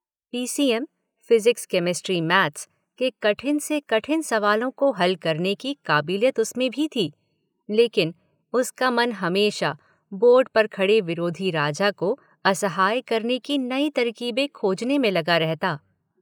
PCSM, physics, chemistry, maths, के कठिन से कठिन सवालों को हल करने की काबिलियत उसमें भी थी लेकिन उसका मन हमेशा बोर्ड पर खड़े विरोधी राजा को असहाय करने की नई तरकीबें खोजने में लगा रहता।